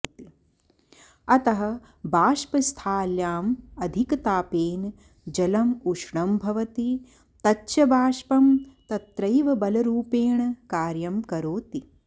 अतः बाष्पस्थाल्याम् अधिकतापेन जलम् उष्णं भवति तच्च बाष्पं तत्रैव बलरूपेण कार्यं करोति